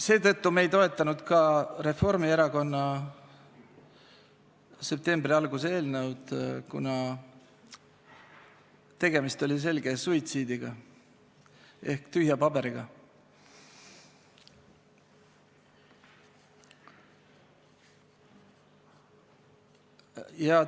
Seetõttu ei toetanud me ka Reformierakonna septembri alguse eelnõu, kuna tegemist oli selge suitsiidiga ehk tühja paberiga.